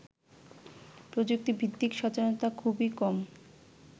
প্রযুক্তিভিত্তিক সচেতনতা খুবই কম